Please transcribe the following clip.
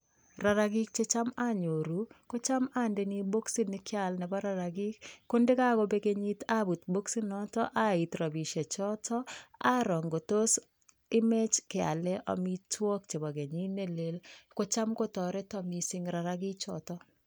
rarakik che cham anyoruu ko cham andei boxit ne kyaal nebaa rarakik ko ndakobek kenyit abut boxit notok aiit rabishek chotok aroo ko tos imech kyalee amitwagigik nebaa kenyit nelel kocham tarita mising rarakik chotok